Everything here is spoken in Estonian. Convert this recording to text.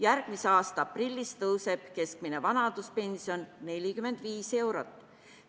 Järgmise aasta aprillis tõuseb keskmine vanaduspension 45 eurot.